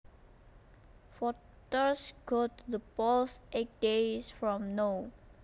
Voters go to the polls eight days from now